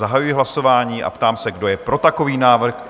Zahajuji hlasování a ptám se, kdo je pro takový návrh?